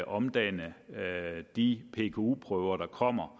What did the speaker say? omdanne de pku prøver der kommer